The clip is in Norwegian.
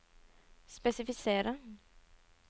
spesifisere